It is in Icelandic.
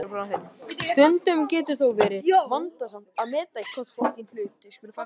Stundum getur þó verið vandasamt að meta í hvorn flokkinn hlutir skuli falla.